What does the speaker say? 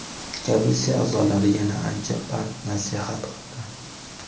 Komissiya a’zolari yana ancha pand-nasihat qildi.